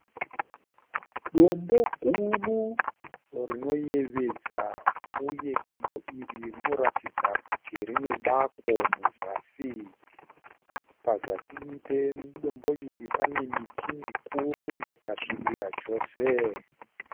Dombo guru rinoyevedza uye dombo iri rinoratidza kuti rine bako muzasi. Pazasi pedombo iri pane miti mikuru yakasvibira chose.